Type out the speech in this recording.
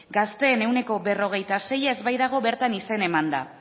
gazteen ehuneko berrogeita seia ez baitago bertan izena emanda